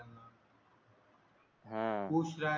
हा